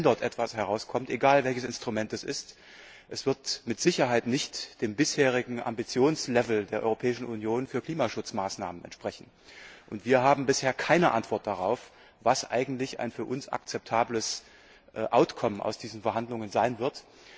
Selbst wenn dort etwas herauskommt egal, welches Instrument es ist es wird mit Sicherheit nicht dem bisherigen Ambitionslevel der Europäischen Union für Klimaschutzmaßnahmen entsprechen. Wir haben bisher keine Antwort darauf, was eigentlich ein für uns akzeptables Ergebnis dieser Verhandlungen sein wird.